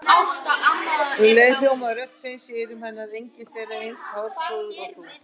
Um leið hljómaði rödd Sveins í eyrum hennar: engin þeirra er eins hárprúð og þú